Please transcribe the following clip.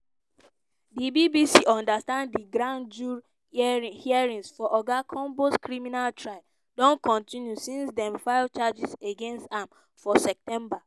di bbc understand di grand jury hearings for oga combs criminal trial don continue since dem file charges against am for september.